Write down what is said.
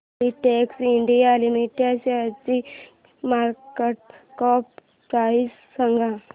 Filatex India limited शेअरची market cap price सांगा